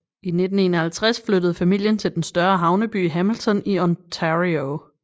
I 1951 flyttede familien til den større havneby Hamilton i Ontario